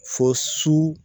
Fɔ su